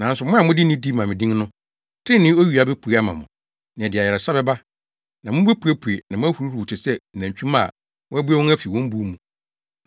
Nanso mo a mode nidi ma me din no, trenee owia bepue ama mo, na ɛde ayaresa bɛba. Na mubepue na moahuruhuruw te sɛ nantwimma a wɔabue wɔn afi wɔn buw mu.